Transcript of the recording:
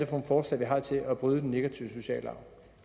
for forslag vi har til at bryde den negative sociale